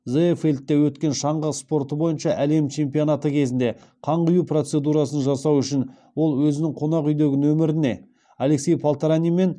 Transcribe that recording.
зеефельдте өткен шаңғы спорты бойынша әлем чемпионаты кезінде қан құю процедурасын жасау үшін ол өзінің қонақ үйдегі нөміріне алексей полторанин мен